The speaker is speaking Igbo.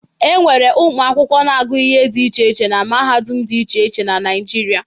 E nwere ụmụ akwụkwọ na-agụ ihe dị iche iche na mahadum dị iche iche na Naịjirịa.